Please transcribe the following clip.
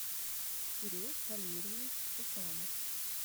кирилл валерьевич усанов